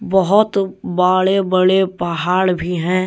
बहोत बाड़े बड़े पहाड़ भी हैं।